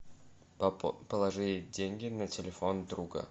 положи деньги на телефон друга